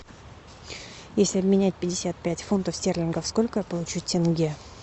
если обменять пятьдесят пять фунтов стерлингов сколько я получу тенге